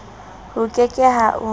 ho ke ke ha o